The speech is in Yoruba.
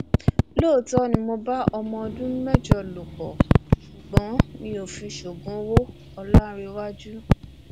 lóòótọ ni mo bá ọmọ ọdún mẹjọ lò pọ ṣùgbọn mi ò fi ṣoògùn owó ọlàǹrẹwájú